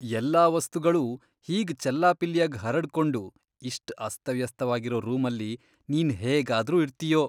ಎಲ್ಲಾ ವಸ್ತುಗಳೂ ಹೀಗ್ ಚೆಲ್ಲಾಪಿಲ್ಲಿಯಾಗ್ ಹರಡ್ಕೊಂಡು ಇಷ್ಟ್ ಅಸ್ತವ್ಯಸ್ತವಾಗಿರೋ ರೂಮಲ್ಲಿ ನೀನ್ ಹೇಗಾದ್ರೂ ಇರ್ತೀಯೋ?!